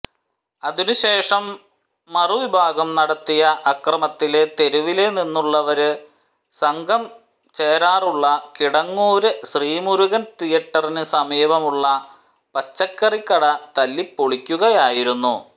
അതിനുശേഷം മറുവിഭാഗം നടത്തിയ അക്രമത്തില് തെരുവില് നിന്നുള്ളവര് സംഘം ചേരാറുള്ള കിടങ്ങൂര് ശ്രീമുരുകന് തീയേറ്ററിന് സമീപം ഉള്ള പച്ചക്കറിക്കട തല്ലിപ്പൊളിക്കുകയായിരുന്നു